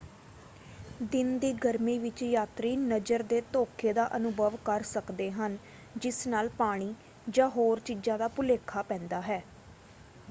ਦਿਨ ਦੀ ਗਰਮੀ ਵਿੱਚ ਯਾਤਰੀ ਨਜ਼ਰ ਦੇ ਧੋਖੇ ਦਾ ਅਨੁਭਵ ਕਰ ਸਕਦੇ ਹਨ ਜਿਸ ਨਾਲ ਪਾਣੀ ਜਾਂ ਹੋਰ ਚੀਜ਼ਾਂ ਦਾ ਭੁਲੇਖਾ ਪੈਂਦਾ ਹੈ।